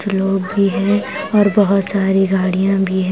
कुछ लोग भी है और बहुत सारी गाड़ियां भी है।